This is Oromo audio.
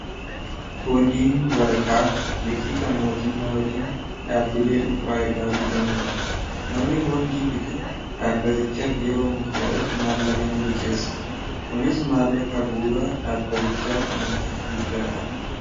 boondiin waraqaa liqii kan mootummaa yookiin dhaabbilee dhunfaa irraa bitamuudha namni boondii bite dhaabbatichaaf yeroo murtaa'eef maallaqa n liqeessa kunis maallaqa buura dhaabbatichaaf madda guddaadha